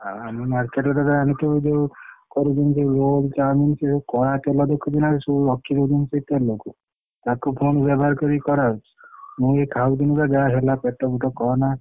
ଆଉ ଆମ market କଥା ଜାଣିଥିବୁ ଯୋଉ କରୁଛନ୍ତି ସବୁ roll, chow mein ସେ ଯୋଉ କଡା ତେଲ ରଖିଦଉଛନ୍ତି ସେ ସବୁ ତେଲକୁ ତାକୁ ପୁଣି ବ୍ୟବହାର କରି କରା ହଉଛି, ମୁ ଏ ଖାଉଥିଲି ଯାହାହେଲା ପେଟବେଟ କହନା।